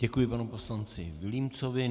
Děkuji panu poslanci Vilímcovi.